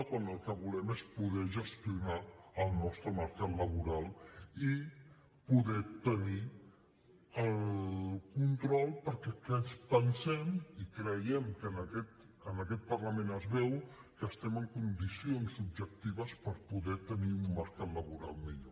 quan el que volem és poder gestionar el nostre mercat laboral i poder ne tenir el control perquè pensem i creiem que en aquest parlament es veu que estem en condicions objectives per poder tenir un mercat laboral millor